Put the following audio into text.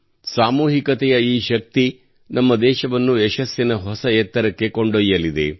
ಸಾಮೂಹಿಕತೆಯ ಈ ಶಕ್ತಿಯು ನಮ್ಮ ದೇಶವನ್ನು ಯಶಸ್ಸಿನ ಹೊಸ ಎತ್ತರಕ್ಕೆ ಕೊಂಡೊಯ್ಯಲಿದೆ